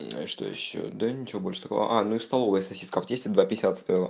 что ещё да ничего больше такого а ну и в столовой сосиска в тесте два пятьдесят стоила